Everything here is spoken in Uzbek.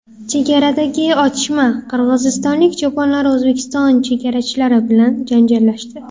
Chegaradagi otishma: Qirg‘izistonlik cho‘ponlar O‘zbekiston chegarachilari bilan janjallashdi.